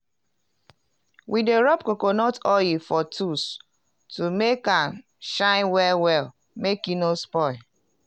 we dey rub coconut oil for tols to make am shine well well make e no spoil.